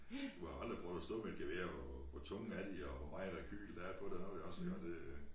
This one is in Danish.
Du har aldrig prøvet at stå med et gevær og hvor tunge er de og hvor meget rekyl er der på det også iggå og det øh